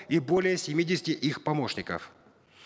и более семидесяти их помощников